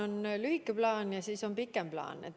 On lühike plaan ja on pikem plaan.